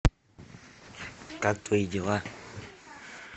как твои дела